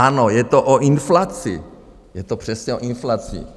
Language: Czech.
Ano, je to o inflaci, je to přesně o inflaci.